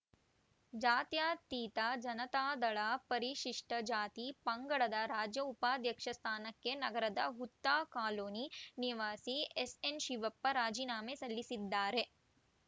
ಜಾತ್ಯತೀತ ಜನಾತದಳ ಪರಿಶಿಷ್ಟಜಾತಿಪಂಗಡದ ರಾಜ್ಯ ಉಪಾಧ್ಯಕ್ಷ ಸ್ಥಾನಕ್ಕೆ ನಗರದ ಹುತ್ತಾ ಕಾಲೋನಿ ನಿವಾಸಿ ಎಸ್‌ಎನ್‌ ಶಿವಪ್ಪ ರಾಜಿನಾಮೆ ಸಲ್ಲಿಸಿದ್ದಾರೆ